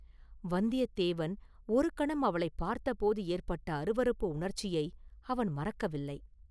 வந்தியத்தேவன் ஒரு கணம் அவளைப் பார்த்தபோது ஏற்பட்ட அருவருப்பு உணர்ச்சியை அவன் மறக்கவில்லை.